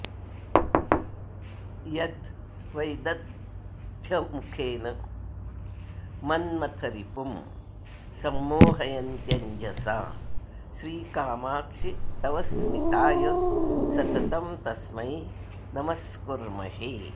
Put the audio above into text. यद्वैदग्ध्यमुखेन मन्मथरिपुं संमोहयन्त्यञ्जसा श्रीकामाक्षि तव स्मिताय सततं तस्मै नम्सकुर्महे